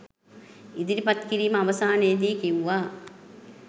ඉදිරිපත් කිරීම අවසානයේදී කිව්වා